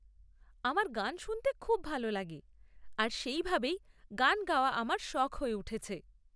আমার গান শুনতে খুব ভাল লাগে আর সেইভাবেই গান গাওয়া আমার শখ হয়ে উঠেছে।